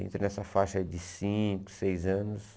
Entrei nessa faixa de cinco, seis anos.